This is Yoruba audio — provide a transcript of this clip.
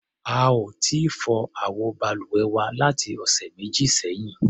A ò tíì fọ àwọ balùwẹ̀ wa láti ọ̀sẹ̀ méjì sẹ́yìn.